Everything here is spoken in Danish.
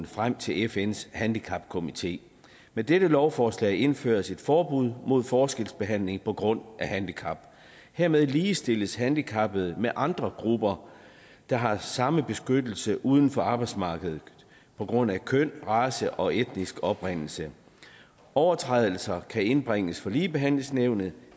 frem til fns handicapkomité med dette lovforslag indføres et forbud mod forskelsbehandling på grund af handicap hermed ligestilles handicappede med andre grupper der har samme beskyttelse uden for arbejdsmarkedet på grund af køn race og etnisk oprindelse overtrædelser kan indbringes for ligebehandlingsnævnet